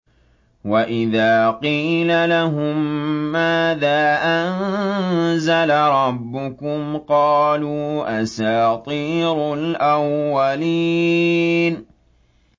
وَإِذَا قِيلَ لَهُم مَّاذَا أَنزَلَ رَبُّكُمْ ۙ قَالُوا أَسَاطِيرُ الْأَوَّلِينَ